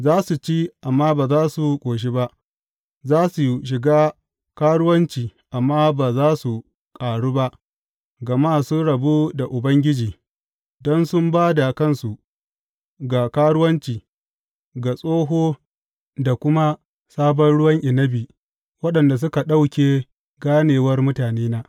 Za su ci amma ba za su ƙoshi ba; za su shiga karuwanci amma ba za su ƙaru ba, gama sun rabu da Ubangiji don su ba da kansu ga karuwanci, ga tsoho da kuma sabon ruwan inabi, waɗanda suka ɗauke ganewar mutanena.